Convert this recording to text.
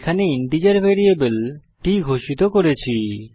এখানে integer variable t ঘোষিত করেছি